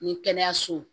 Ni kɛnɛyaso